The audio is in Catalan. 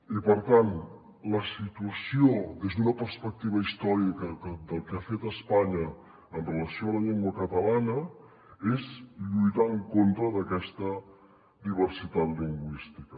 i per tant la situació des d’una perspectiva històrica del que ha fet espanya en relació amb la llengua catalana és lluitar en contra d’aquesta diversitat lingüística